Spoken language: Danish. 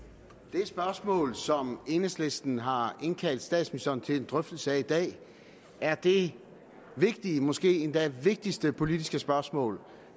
spørgsmål som enhedslisten har indkaldt statsministeren til en drøftelse af i dag er det vigtige måske endda vigtigste politiske spørgsmål